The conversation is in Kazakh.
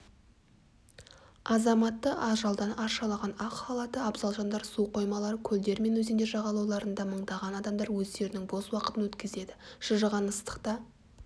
азаматты ажалдан арашалаған ақ халатты абзал жандар су қоймалары көлдер мен өзендер жағалауларында мыңдаған адамдар өздерінің бос уақытын өткізеді шыжыған ыстықта